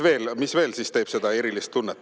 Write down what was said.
Nüüd, mis veel teeb seda erilist tunnet?